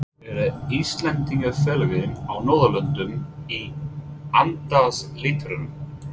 Eru Íslendingafélögin á Norðurlöndunum í andarslitrunum?